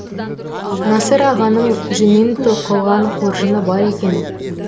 насыр ағаның жүннен тоқылған қоржыны бар екен